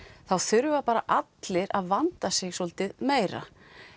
þá þurfa bara allir að vanda sig svolítið meira